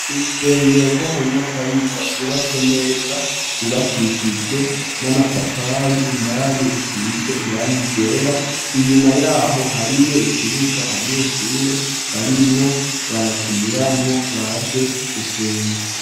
Urusengero rwo mu Nyakabiga rwubatswe neza gubakishijwe n'amatafari indani rusize irangi ryera inyuma yaho hariyo ikibuga abanyeshure barimwo barakiniramwo baje gusenga.